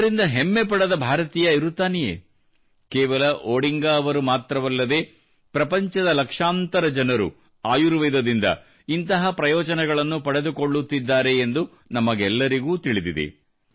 ಇದರಿಂದ ಹೆಮ್ಮೆ ಪಡದ ಭಾರತೀಯ ಇರುತ್ತಾನೆಯೇ ಕೇವಲ ಒಡಿಂಗಾ ಅವರು ಮಾತ್ರವಲ್ಲದೇ ಪ್ರಪಂಚದ ಲಕ್ಷಾಂತರ ಜನರು ಆಯುರ್ವೇದದಿಂದ ಇಂತಹ ಪ್ರಯೋಜನಗಳನ್ನು ಪಡೆದುಕೊಳ್ಳುತ್ತಿದ್ದಾರೆಂದು ನಮಗೆಲ್ಲರಿಗೂ ತಿಳಿದಿದೆ